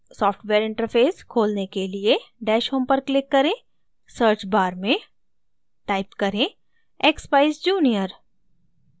software interface खोलने के लिए dash home पर click करें search bar में type करें expeyes junior